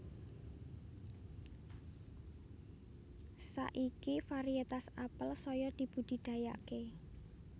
Saiki variétas apel saya dibudidayaké